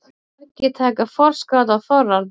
Margir taka forskot á þorrann